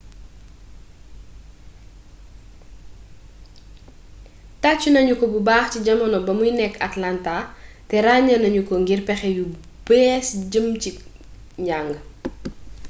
taccu nañuko bubax ci jamono ba muy nekk atlanta te rañe nañuko ngir pexe yu bess jëm ci njang